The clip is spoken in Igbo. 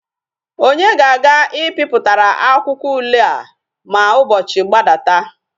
Onye ga aga I piputara akwuakwo ule a ma ubochi gbadata?